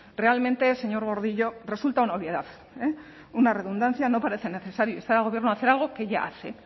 realmente señor gordillo resulta una obviedad una redundancia no parece necesario instar al gobierno a hacer algo que ya hace